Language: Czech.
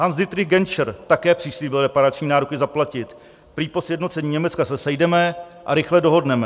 Hans-Dietrich Genscher také přislíbil reparační nároky zaplatit, prý po sjednocení Německa se sejdeme a rychle dohodneme.